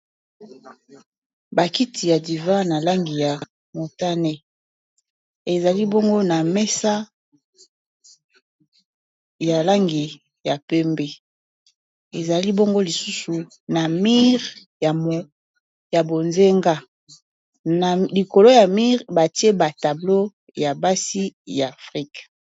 bakiti ya divin na langi ya montane ezali bongo na mesa ya langi ya pembe ezali bongo lisusu na mire ya bozenga likolo ya mire batie batablo ya basi ya afrika